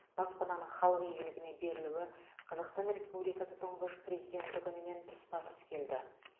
баспананың халық игілігіне берілуі қазақстан республикасы тұңғыш президенті күнімен тұспа тұс келді